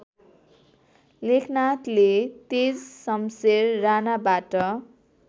लेखनाथले Tejshamsher राणाबाट